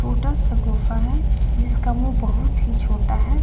सा गुफा है जिसका मुंह बहुत ही छोटा है.